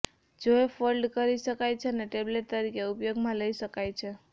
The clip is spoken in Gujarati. જે ફોલ્ડ કરી શકાય છે અને ટેબ્લેટ તરીકે ઉપયોગમાં લઈ શકાય છે